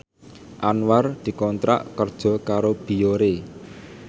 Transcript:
Anwar dikontrak kerja karo Biore